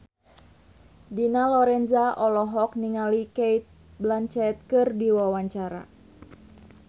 Dina Lorenza olohok ningali Cate Blanchett keur diwawancara